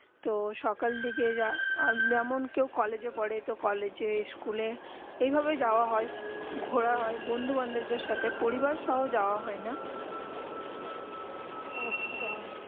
তো সকাল দিকে যেমন কেউ কলেজ পরে তো কলেজ স্কুলে যেই ভাবে যাওবা ঘোড়া হয়ে বন্ধু বান্ধবী পরিবার সাথে যাওবা হয়ে না আচ্ছা